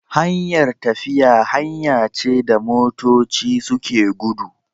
Hanyar tafiya hanya ce da motoci suke gudu